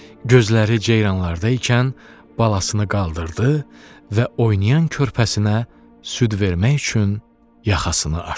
Gözləri ceyranlarda ikən balasını qaldırdı və oynayan körpəsinə süd vermək üçün yaxasını aşdı.